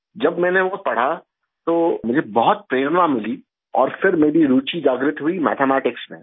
जब मैंने वो पढ़ा तो मुझे बहुत प्रेरणा मिली और फिर मेरी रूचि जागृत हुई मैथमेटिक्स में